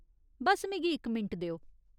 बस्स, मिगी इक मिंट देओ।